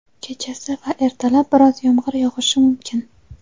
kechasi va ertalab biroz yomg‘ir yog‘ishi mumkin.